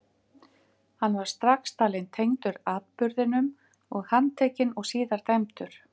Hann var strax talinn tengdur atburðinum og handtekinn og síðar dæmdur.